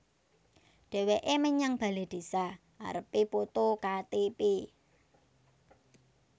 Dheweke menyang bale désa arepe poto Ka Te Pe